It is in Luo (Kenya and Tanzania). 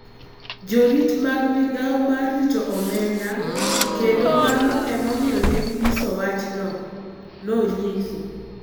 Jorit mag migao mar rito Omenda kendo mano e momiyo ne ginyiso wachno, nonyiso.